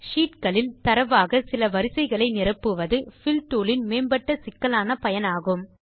sheet களில் தரவாக சில வரிசைகளை நிரப்புவது பில் டூல் இன் மேம்பட்ட சிக்கலான பயனாகும்